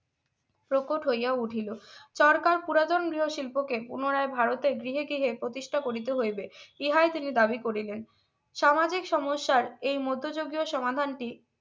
প্রকট হইয়া উঠিলো সরকার পুরাতন গৃহশিল্পকে পুনরায় ভারতে গৃহে গৃহে প্রতিষ্ঠা করিতে হইবে ইহাই তিনি দাবি করিলেন সামাজিক সমস্যার এই মধ্যযুগীয় সমাধানটি